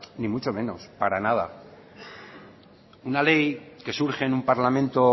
ni mucho menos para nada una ley que surge en un parlamento